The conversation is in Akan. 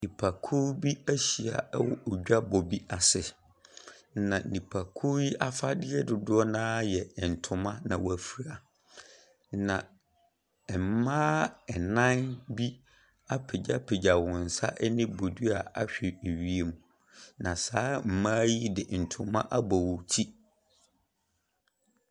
Nnipakuo bi ahyia wɔ dwabɔ bi ase, na nnipakuo yi afadeɛ dodoɔ no ara yɛ ntoma na wɔafura. Na mmaa nnan bi apagya wɔn nsa ne bodua ahwɛ wiem. Na saa mmaa yi de ntoma abɔ wɔn ti.